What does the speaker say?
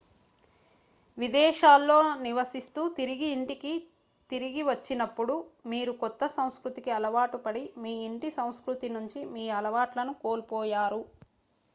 విదేశాల్లో నివసిస్తూ తిరిగి ఇంటికి తిరిగి వచ్చినప్పుడు మీరు కొత్త సంస్కృతికి అలవాటు పడి మీ ఇంటి సంస్కృతి నుంచి మీ అలవాట్లను కోల్పోయారు